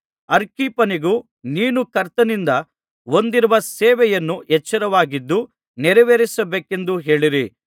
ಅರ್ಖಿಪ್ಪನಿಗೆ ನೀನು ಕರ್ತನಿಂದ ಹೊಂದಿರುವ ಸೇವೆಯನ್ನು ಎಚ್ಚರವಾಗಿದ್ದು ನೆರವೇರಿಸಬೇಕೆಂದು ಹೇಳಿರಿ